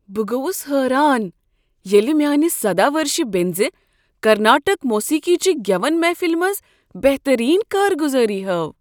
بہٕ گوس حیران ییٚلہ میانہ سدہَ ؤرشہ بیٚنٛزِ کرناٹک موسیقی چہ گیون محفل منٛز بہترین کارگزاری ہٲو۔